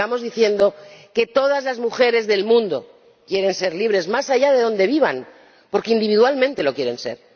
quienes sigamos diciendo que todas las mujeres del mundo quieren ser libres, más allá de donde vivan, porque individualmente lo quieren ser.